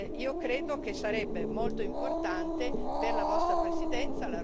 Io credo che sarebbe molto importante per la vostra Presidenza.